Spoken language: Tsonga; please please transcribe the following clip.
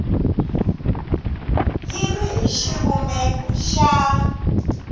yi ri hi xivumbeko xa